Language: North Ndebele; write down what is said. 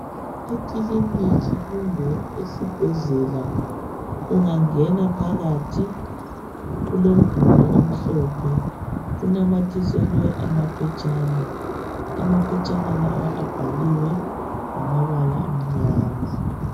Ekiliniki kumbe esibhedlela ungangena phakathi kulomduli omhlophe unamathiselwe amaphetshana amaphetshana lawa abhaliwe ngamabala amnyama.